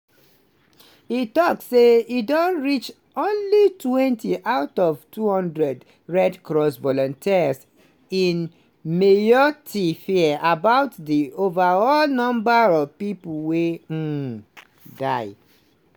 e tok say e don reach onlytwentyout of 200 red cross volunteers in mayotte fear about di overall number of pipo wey um die.